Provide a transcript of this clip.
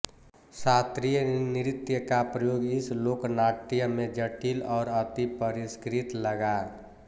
शास्त्रीय नृत्य का प्रयोग इस लोकनाट्य में जटिल और अतिपरिष्कृत लगा